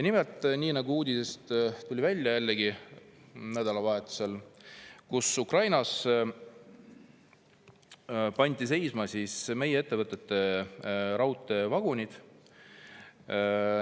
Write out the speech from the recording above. Nimelt, nii nagu jällegi uudisest tuli välja, nädalavahetusel, pandi Ukrainas seisma meie ettevõtete raudteevagunid.